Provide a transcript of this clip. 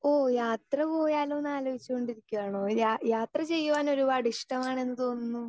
Speaker 2 ഓ യാത്ര പോയാലോന്ന് ആലോചിച്ചു കൊണ്ടിരിക്കുകയാണോ യാ യാത്ര ചെയ്യുവാൻ ഒരുപാട് ഇഷ്ടമാണെന്ന് തോന്നുന്നു?